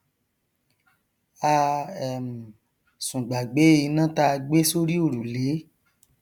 a um sùn gbàgbé iná táa gbé sórí òrùlé